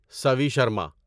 Savi Sharma